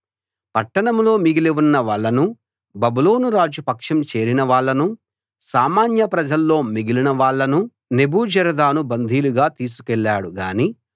పట్టణంలో మిగిలి ఉన్న వాళ్ళనూ బబులోనురాజు పక్షం చేరిన వాళ్ళనూ సామాన్య ప్రజల్లో మిగిలిన వాళ్ళనూ నెబూజరదాను బందీలుగా తీసుకెళ్ళాడు గాని